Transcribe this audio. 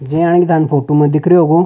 जे यान थाने फोटो में दिख रियो हो।